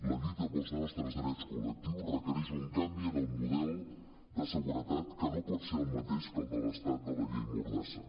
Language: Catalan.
la lluita pels nostres drets col·lectius requereix un canvi en el model de segure·tat que no pot ser el mateix que el de l’estat de la llei mordassa